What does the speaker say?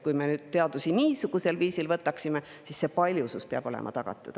Kui me teadusesse niisugusel viisil, siis paljusus peaks olema tagatud.